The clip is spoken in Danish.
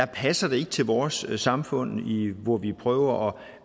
passer ikke til vores samfund hvor vi prøver